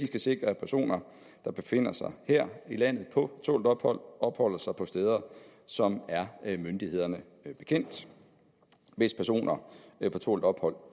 skal sikre at personer der befinder sig her i landet på tålt ophold opholder sig på steder som er myndighederne bekendt hvis personer på tålt ophold